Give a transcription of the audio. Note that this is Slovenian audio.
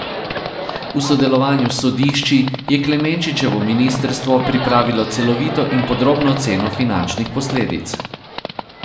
V sodelovanju s sodišči je Klemenčičevo ministrstvo pripravilo celovito in podrobno oceno finančnih posledic.